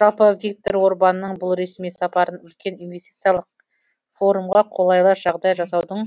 жалпы виктор орбанның бұл ресми сапарын үлкен инвестициялық форумға қолайлы жағдай жасаудың